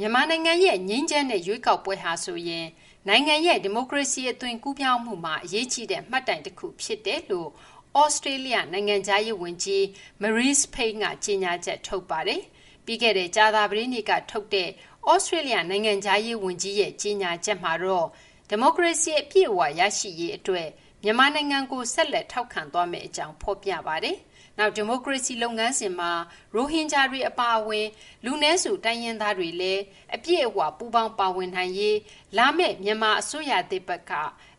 မြန်မာနိုင်ငံရဲ့ ငြိမ်းချမ်းတဲ့ ရွေးကောက်ပွဲဟာဆိုရင် နိုင်ငံရဲ့ ဒီမိုကရေစီ အသွင်ကူးပြောင်းမှုမှာ အရေးကြီးတဲ့ မှတ်တိုင်တခု ဖြစ်ပါတယ်လို့ သြစတြေးလျ နိုင်ငံခြားရေးဝန်ကြီး Marise Payne က ကြေညာချက် ထုတ်ပါတယ်။ ပြီးခဲ့တဲ့ ကြာသပတေးနေ့ကထုတ်တဲ့ သြစတြေးလျ နိုင်ငံခြားရေးဝန်ကြီးရဲ့ ကြေညာချက်မှာတော့ ဒီမိုကရေစီ အပြည့်အဝ ရရှိရေးအတွက် မြန်မာနိုင်ငံကို ဆက်လက် ထောက်ခံသွားမယ့်အကြောင်း ဖော်ပြပါတယ်။ နောက် ဒီမိုကရေစီ လုပ်ငန်းစဉ်မှာ ရိုဟင်ဂျာတွေ အပါအဝင် လူနည်းစု တိုင်းရင်းသားတွေလည်း အပြည့်အဝ ပူးပေါင်းပါဝင်နိုင်ရေးအတွက် လာမယ့် မြန်မာအစိုးရသစ်ဘက်က